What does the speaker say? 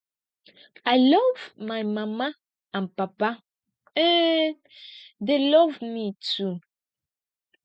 i love my mama and papa um dey love me too